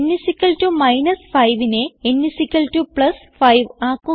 n 5നെ n 5 ആക്കുക